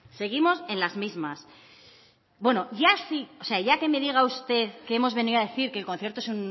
seguimos en las mismas bueno ya sí o sea ya que me diga usted que hemos venido a decir que el concierto